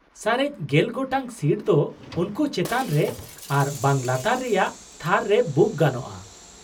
ᱥᱟᱨᱮᱡ ᱜᱮᱞ ᱜᱚᱴᱟᱝ ᱥᱤᱴ ᱫᱚ ᱩᱱᱠᱩ ᱪᱮᱛᱟᱱ ᱨᱮ ᱟᱨ ᱵᱟᱝ ᱞᱟᱛᱟᱨ ᱨᱮᱭᱟᱜ ᱛᱷᱟᱨ ᱨᱮ ᱵᱩᱠ ᱜᱟᱱᱳᱜᱼᱟ ᱾